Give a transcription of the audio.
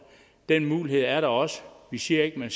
den mulighed er der også vi siger ikke at man